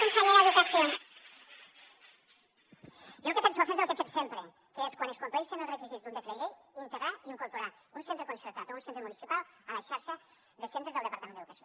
jo el que penso fer és el que he fet sempre que és quan es compleixen els requisits d’un decret llei integrar i incorporar un centre concertat o un centre municipal a la xarxa de centres del departament d’educació